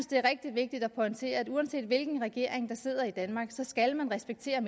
det er rigtigt vigtigt at pointere at uanset hvilken regering der sidder i danmark skal man respektere